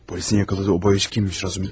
Polisin yaxaladığı o boyacı kimmiş, Razu?